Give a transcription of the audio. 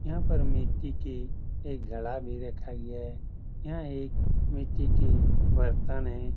यहाँ पर मिट्टी के एक घड़ा भी रखा गया है| यह एक मिट्टी के बर्तन है।